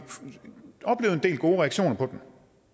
del gode reaktioner på den